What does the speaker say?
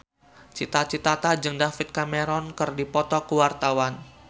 Cita Citata jeung David Cameron keur dipoto ku wartawan